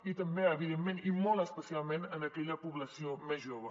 i també evidentment i molt especialment en aquella població més jove